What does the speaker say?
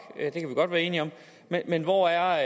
det kan vi godt være enige om men hvor er